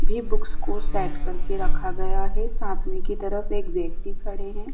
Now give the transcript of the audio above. भी बुक्स को सेट करके रखा गया है। सामने की तरफ एक व्यक्ति खड़े है।